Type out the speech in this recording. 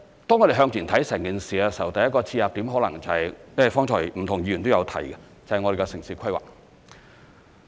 當我們向前看整件事時，第一個切入點可能就是——因為剛才不同議員都有提及——就是我們的城市規劃。